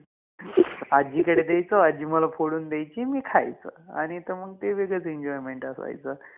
आजीकडे द्यायचो, आजी मला फोडुन द्यायचि, मि खायचोआणि ते मंग ते वेगळच Enjoyment असायच